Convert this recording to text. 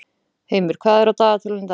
Heimir, hvað er á dagatalinu í dag?